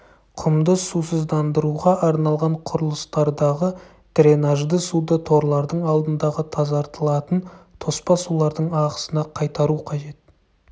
құмды сусыздандыруға арналған құрылыстардағы дренажды суды торлардың алдындағы тазартылатын тоспа сулардың ағысына қайтару қажет